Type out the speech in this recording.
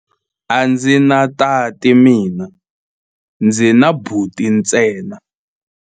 A ndzi na tati mina, ndzi na buti ntsena.